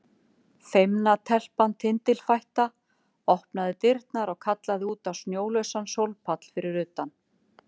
Feimna telpan tindilfætta opnaði dyrnar og kallaði út á snjólausan sólpall fyrir utan.